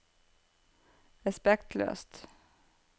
respektløst